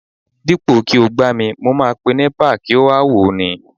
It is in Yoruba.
Dípò kí ó gbá mi mo máa pe Nepa láti wá wò ó ni